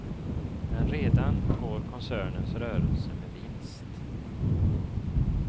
Men redan går koncernens rörelse med vinst.